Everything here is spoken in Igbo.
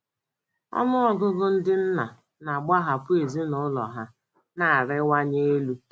Ọnụ ọgụgụ ndị nna na - agbahapụ ezinụlọ ha na - arịwanye elu.